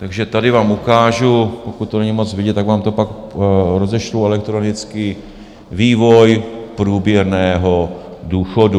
Takže tady vám ukážu - pokud to není moc vidět, tak vám to pak rozešlu elektronicky - vývoj průměrného důchodu.